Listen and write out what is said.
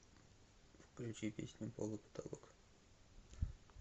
включи песню пол и потолок